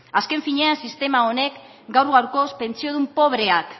azken finean sistema honek gaur gaurkoz pentsiodun pobreak